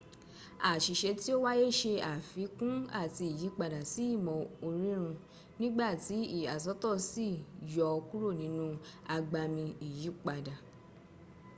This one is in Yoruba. àṣìṣe tí o wáyé ṣe àfikún àti ìyípadà sí ìmọ̀ orírùn nígbàtí ìyàsọ́tọ̀ sì yọ ọ́ kúrò nínú agbami ìyípadà